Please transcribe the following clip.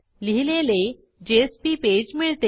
लिहिलेले JSP page मिळते